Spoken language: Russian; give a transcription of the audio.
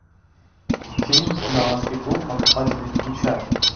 фильм далласский клуб покупателей включай